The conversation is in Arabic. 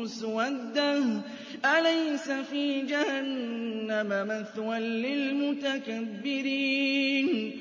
مُّسْوَدَّةٌ ۚ أَلَيْسَ فِي جَهَنَّمَ مَثْوًى لِّلْمُتَكَبِّرِينَ